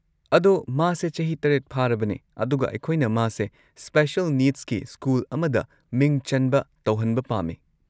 ꯑꯗꯣ, ꯃꯥꯁꯦ ꯆꯍꯤ ꯷ ꯐꯥꯔꯕꯅꯦ ꯑꯗꯨꯒ ꯑꯩꯈꯣꯏꯅ ꯃꯥꯁꯦ ꯁ꯭ꯄꯦꯁꯦꯜ ꯅꯤꯗꯁꯀꯤ ꯁ꯭ꯀꯨꯜ ꯑꯃꯗ ꯃꯤꯡ ꯆꯟꯕ ꯇꯧꯍꯟꯕ ꯄꯥꯝꯃꯦ꯫